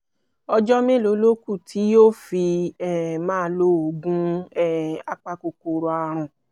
ọjọ́ mélòó ló kù tí yóò fi um máa lo oògùn um apakòkòrò ààrùn?